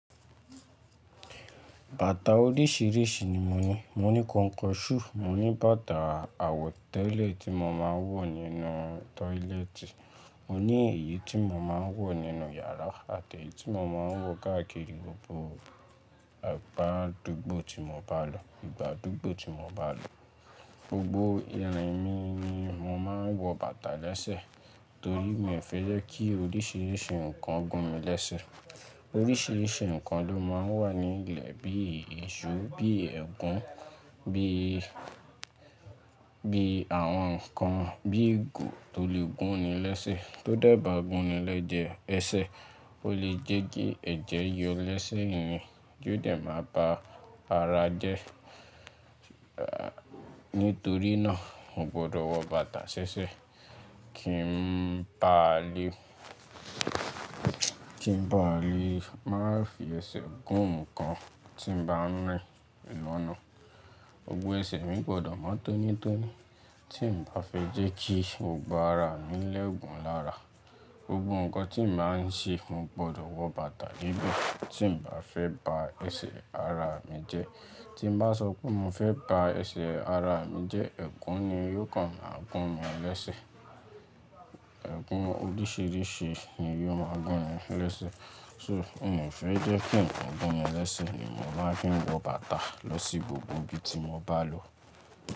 Bàtà oríṣìíríṣìí ni mo ní. Mo ní kọnkọṣúù, mo ní bàtà àwọ̀tẹ́lẹ̀ tí mo máa ń wọ̀ nínú tọ́ílẹ́ẹ̀tì, mo ní èyí tí mo máa ń wọ̀ nínú yàrá àti èyí tí mo máa ń wọ̀ gákírì gbogbo ìgbà gbogbo tí mo bá lọ. Gbogbo ìrìn mi ni mo máa ń wọ bàtà lẹ́sẹ̀ torí mi ò fẹ́ jẹ́ kí oríṣìíríṣìí nǹkan gún mi lẹ́sẹ̀. Oríṣìíríṣìí nǹkan ló máa ń wà ní ilẹ̀ bíi iṣu, bíi ẹ̀gún, bíi, bíi àwọn nǹkan bíi eegun tó lè gún ni lẹ́sẹ̀. Tó dẹ̀ bá gún ni lẹ́sẹ̀ jẹ ẹsẹ̀, ó lè jẹ́ kí ẹ̀jẹ̀ yọ lẹ́sẹ̀ èèyàn tí ó dẹ̀ máa ba ara jẹ. Nítorí náà, mo gbọdọ̀ wọ bàtà ṣẹ́ṣẹ́ kí n ba lè, kí n ba lè má fì ẹsẹ̀ gún nǹkan tí mo bá ń rìn lọ́nà. Gbogbo ẹsẹ̀ mi gbọdọ̀ máa tónítóní tí n ba fẹ́ jẹ́ kí gbogbo ara mi lẹ́gùn lára. Gbogbo nǹkan tí mo bá ń ṣe, mo gbọdọ̀ wọ bàtà níbi tí n ba fẹ́ ba ẹsẹ̀ ara mi jẹ́. Tí n bá sọ pé mo fẹ́ ba ẹsẹ̀ ara mi jẹ́, ẹ̀gún ni yóò kàn gún mi lẹ́sẹ̀. Ẹ̀gún oríṣìíríṣìí ni yóò máa gún mi lẹ́sẹ̀. So, mi ò fẹ́ jẹ́ kí nǹkan gún mi lẹ́sẹ̀ ni mo máa fi ń wọ bàtà lọ sí gbogbo ibi tí mo bá lọ.